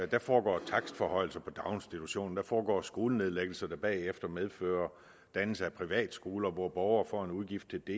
der foregår takstforhøjelser på daginstitutioner der foregår skolenedlæggelser der bagefter medfører dannelse af privatskoler hvor borgere får en udgift til det